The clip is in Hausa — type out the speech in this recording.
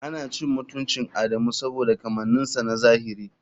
Ana cin mutuncin Adamu saboda kamanninsa na zahiri.